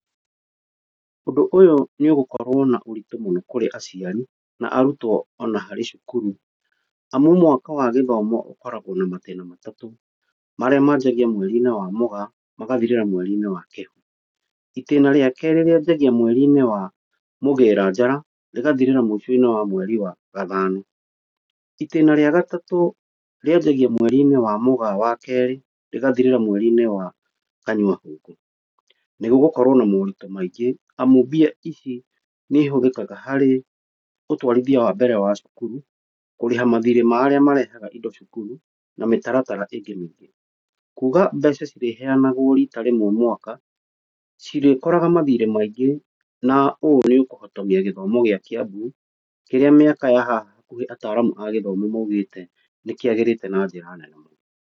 Ũndũ ũyũ nĩ ũgũkorwo na ũritũ mũĩngĩ kũrĩ aciari na arutwo ona harĩ cukuru, amu mwaka wa gĩthoma ũkoragwo na matĩna matatũ, marĩa manjagia mweri wa mũgaa, magathirĩra mweri wa kĩro. Ĩtĩna rĩa kerĩ rĩanjagia mweri-inĩ wa mũgĩra njara, rĩgathirĩra mũico wa mweri wa gathanũ. Itĩna rĩa gatatũ, rĩanjagia mweri-inĩ wa mũgaa wa kerĩ, rĩgathirĩra mweri-inĩ wa kanyua hũngũ. Nĩgũgũkorwo na moritũ maingĩ, amu mbia ici nĩ ihũthĩkaga harĩ ũtwarithia wambere wa cukuru, kũrĩha mathĩrĩ ma arĩa marehaga indo cukuru na mĩtaratara ĩngĩ mĩingĩ. Kũga mbeca cirĩheyanagwo rita rĩmwe mwaka, cirĩkoraga mathirĩ maingĩ, na ũũ nĩ ũkũhotomia gĩthomo gĩa Kiambu, kĩrĩa mĩaka ya hakuhĩ ataaramu maũgĩte nĩ kĩagĩrĩte na njĩra nene mũno.